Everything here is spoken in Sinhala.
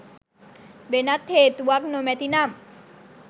වෙනත් හේතුවක් නොමැති නම්